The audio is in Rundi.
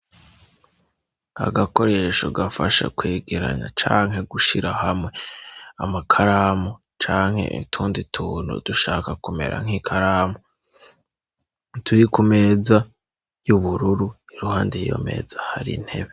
Agakoresho gafasha kwegeranya canke gushira hamwe amakaramu canke intundu ituntu dushaka kumera nk'ikaramu ituri ku meza y'ubururu iruhande yiyo meza hari ntebe.